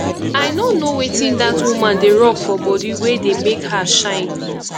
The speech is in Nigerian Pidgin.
i no know wetin dat woman dey rub for body wey dey make her shine